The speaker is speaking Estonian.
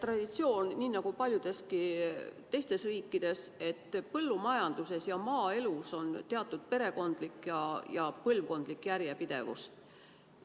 Eestis on nii nagu paljudes teisteski riikides traditsioon, et põllumajanduses ja üldse maaelus valitseb teatud perekondlik järjepidevus.